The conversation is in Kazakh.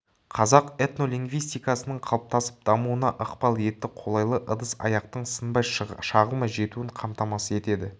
қазақ этнолингвистикасының қалыптасып дамуына ықпал етті қолайлы ыдыс-аяқтың сынбай шағылмай жетуін қамтамасыз етеді